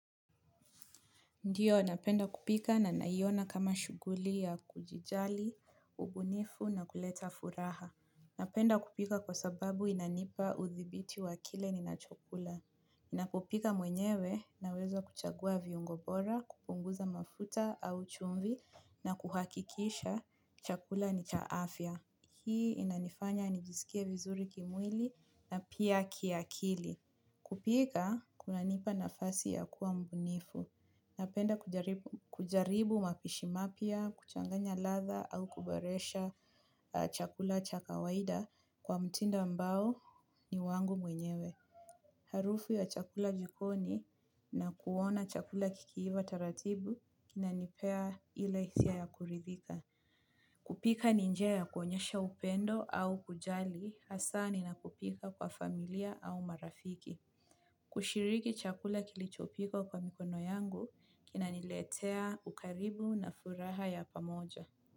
Ndiyo, napenda kupika na naiyona kama shughuli ya kujijali, ubunifu na kuleta furaha. Napenda kupika kwa sababu inanipa udhibiti wa kile ninacho kula. Napopika mwenyewe naweza kuchagua viungo bora, kupunguza mafuta au chumvi na kuhakikisha chakula ni cha afya. Hii inanifanya nijisikie vizuri kimwili na pia kiakili. Kupika, kunanipa nafasi ya kuwa mbunifu. Napenda kujaribu kujaribu mapishi mapya, kuchanganya ladha au kuboresha aaa chakula cha kawaida kwa mtinda ambao ni wangu mwenyewe. Harufu ya chakula jikoni na kuona chakula kikiiva taratibu na kinanipea ile hisia ya kuridhika. Kupika ni njia ya kuonyesha upendo au kujali hasaa ninapopika kwa familia au marafiki. Kushiriki chakula kilichopikwa kwa mikono yangu, kinaniletea ukaribu na furaha ya pamoja.